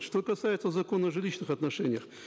что касается закона о жилищных отношениях